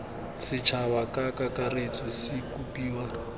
setšhaba ka kakaretso se kopiwa